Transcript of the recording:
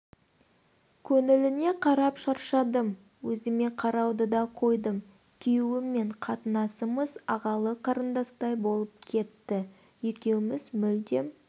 көңіліне қарап шаршадым өзіме қарауды да қойдым күйеуіммен қатынасымыз ағалы қарындастай болып кетті екеуміз мүлдем